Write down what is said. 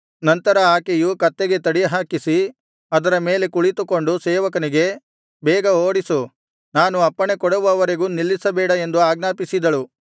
ನಂತರ ಆಕೆಯು ಕತ್ತೆಗೆ ತಡಿ ಹಾಕಿಸಿ ಅದರ ಮೇಲೆ ಕುಳಿತುಕೊಂಡು ಸೇವಕನಿಗೆ ಬೇಗ ಓಡಿಸು ನಾನು ಅಪ್ಪಣೆಕೊಡುವವರೆಗೆ ನಿಲ್ಲಿಸಬೇಡ ಎಂದು ಆಜ್ಞಾಪಿಸಿದಳು